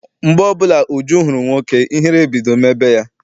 Mgbe ọbụla Uju hụrụ nwoke, ihere ebido mebe ya.